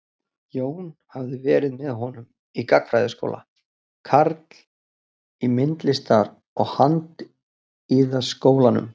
Jón hafði verið með honum í gagnfræðaskóla, karl í Myndlistar- og handíðaskólanum.